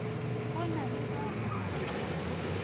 o na le ba go